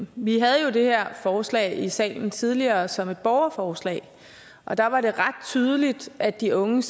vi havde det her forslag i salen tidligere som et borgerforslag og der var det ret tydeligt at de unge